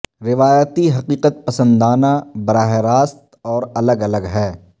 روایتی حقیقت پسندانہ براہ راست اور الگ الگ ہے